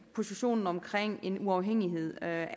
positionen omkring en uafhængighed af